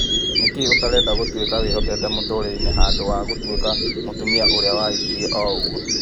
" Nĩkĩĩ ũtarenda gũtuĩka wĩhoteete mũtũrĩre-inĩ, handũ wa gũtuĩka mũtumia ũrĩa wahĩkire o-ũguo?"